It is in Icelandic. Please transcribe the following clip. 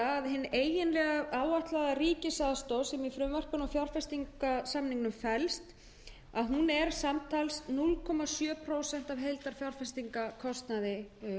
hin eiginlega áætlaða ríkisaðstoð sem í frumvarpinu og fjárfestingarsamningnum felst er því samtals núll komma sjö prósent af heildarfjárfestingarkostnaði